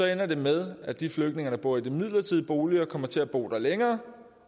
ender det med at de flygtninge der bor i de midlertidige boliger kommer til at bo der længere